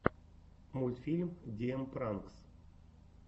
мультфильм ди эм пранкс